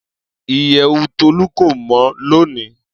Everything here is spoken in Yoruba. Iyẹwu Tolu ko mọ loni.